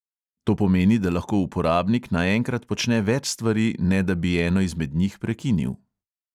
To pomeni, da lahko uporabnik naenkrat počne več stvari, ne da bi eno izmed njih prekinil.